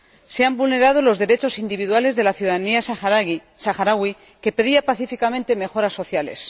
Se han vulnerado los derechos individuales de la ciudadanía saharaui, que pedía pacíficamente mejoras sociales.